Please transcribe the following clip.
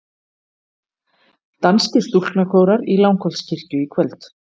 Danskir stúlknakórar í Langholtskirkju í kvöld